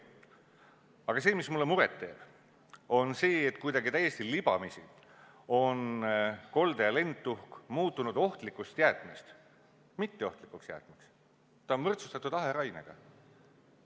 Aga see, mis mulle muret teeb, on see, et kuidagi täiesti libamisi on kolde- ja lendtuhk muutunud ohtlikust jäätmest mitteohtlikuks jäätmeks, see on võrdsustatud aherainega.